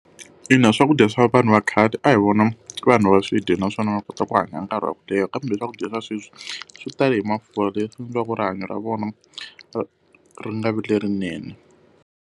Ina, swakudya swa vanhu va khale a hi vona vanhu va swi dya naswona va kota ku hanya nkarhi wa ku leha, kambe swakudya swa sweswi swi tala hi mafurha leswi endliwaka rihanyo ra vona ri ri nga vi lerinene.